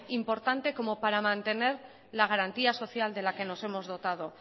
importante como para mantener la garantía social de la que nos hemos dotado